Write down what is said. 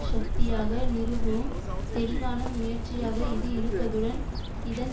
சக்தியாக நிறுவவும் தெளிவான முயற்சியாக இது இருப்பதுடன் இதன்